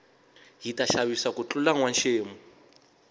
hita xavisa ku tlula nwa xemu